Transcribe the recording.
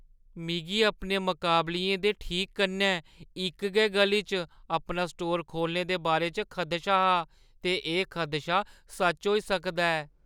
मिगी अपने मकाबलियें दे ठीक कन्नै इक गै ग'ली च अपना स्टोर खोह्‌लने दे बारे च खदशा हा ते एह् खदशा सच होई सकदा ऐ।